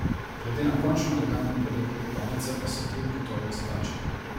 Glede na končno elegantno podobo kopalnice pa se je trud gotovo izplačal.